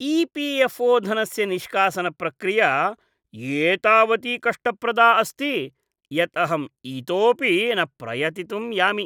EPFO. धनस्य निष्कासनप्रक्रिया एतावती कष्टप्रदा अस्ति यत् अहं इतोऽपि न प्रयतितुं यामि।